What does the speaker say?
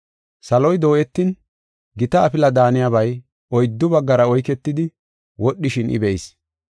Saloy dooyetin, gita afila daaniyabay oyddu baggara oyketidi wodhishin I be7is.